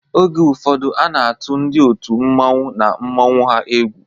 Oge ụfọdụ a na-atụ ndị otu mmanwu na mmanwu ha egwu.